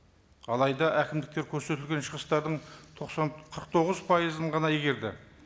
алайда әкімдіктер көрсетілген шығыстардың тоқсан қырық тоғыз пайызын ғана игерді